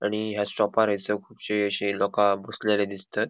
आणि या शॉपार हयसर कूबशी अशी लोका बसलेली दिसतात.